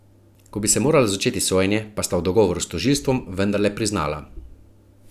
Ko bi se moralo začeti sojenje, pa sta v dogovoru s tožilstvom vendarle priznala.